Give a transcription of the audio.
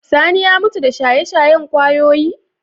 Sani ya mutu da shaye-shayen kwayoyi?